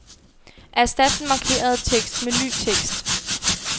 Erstat den markerede tekst med ny tekst.